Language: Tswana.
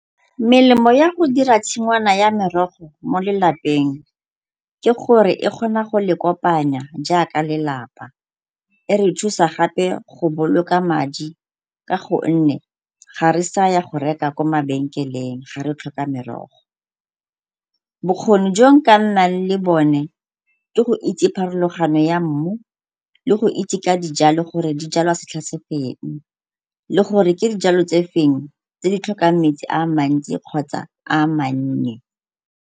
Melemo ya go dira tshingwana ya merogo mo lelapeng ke gore e kgona go le kopanya jaaka lelapa. E re thusa gape go boloka madi ka gonne ga re saya go reka ko mabenkeleng ge re tlhoka merogo. Bokgoni jo nka nnang le bone ke go itse pharologano ya mmu le go itse ka dijalo gore di jalwa setlha sefeng le gore ke dijalo tse feng tse di tlhokang metsi a mantsi kgotsa a mannye.